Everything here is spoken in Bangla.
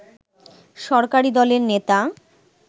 সরকারি দলের নেতা